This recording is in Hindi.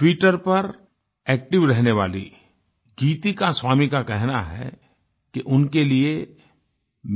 ट्विटर पर एक्टिव रहने वाली गीतिका स्वामी का कहना है कि उनके लिये